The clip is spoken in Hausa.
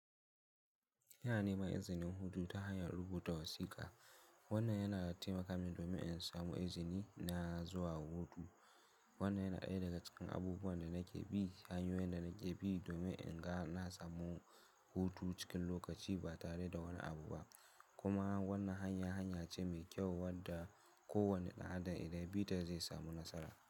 Ina nema izini hutu ta hanya rubuta wasiƙa. Wannan yana taimakawa domin in samu izini na zuwa hutu. Wannan yana ɗaya daga cikin abubuwan da na ke bi hanyoyin da na ke bi domin in ga na samu hutu cikin lokaci ba tare da wani abu ba. Kuma wannan hanya hanya ce mai kyau wadda kowane ɗan adam idan yabita zai samu nasara.